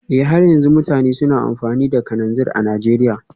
Eh har yanzu mutane suna amfani da kananzir a Najeriya